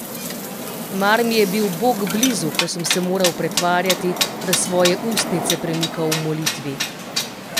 Mar mi je bil Bog blizu, ko sem se moral pretvarjati, da svoje ustnice premikam v molitvi?